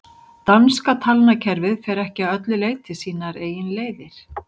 danska talnakerfið fer ekki að öllu leyti sínar eigin leiðir